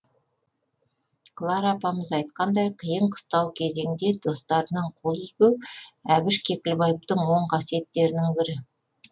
клара апамыз айтқандай қиын қыстау кезеңде достарынан қол үзбеу әбіш кекілбаевтың оң қасиеттерінің бірі